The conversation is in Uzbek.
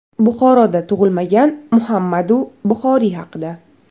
Buxoroda tug‘ilmagan Muhammadu Buxoriy haqida.